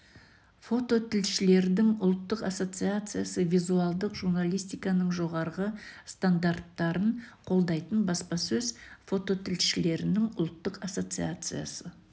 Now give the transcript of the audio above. фототілшілердің ұлттық ассоциациясы визуалдық журналистиканың жоғары стандарттарын қолдайтын баспасөз фототілшілерінің ұлттық ассоциациясы